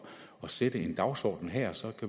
sætte en dagsorden her så